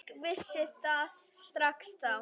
Ég vissi það strax þá.